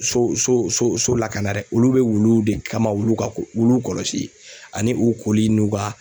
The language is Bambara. So so so lakana dɛ olu bɛ wuluw de kama wulu ka wuluw kɔlɔsi ani u koli n'u ka